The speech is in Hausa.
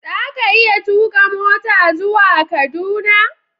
Za ka iya tuka mota zuwa Kaduna?